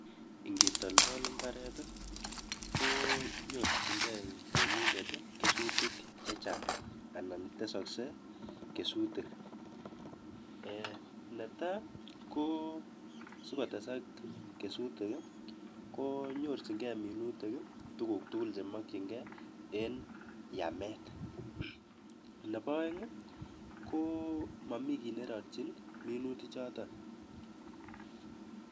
Ngetoltol imbaaret konyorchinkei temindet kesutik chechang anan tesaksei kesutik. Ne tai, ko sikotesak minutik konyorchinkei minutik tuguk tugul chemakchinkei eng yamet. Nebo aeng, ko mami kiy ne rarchin minutik choto.